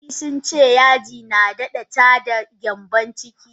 Likkitoci sunce yaji nadada tada gyambon ciki.